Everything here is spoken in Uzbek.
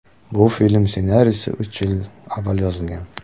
Bu film ssenariysi uch yil avval yozilgan.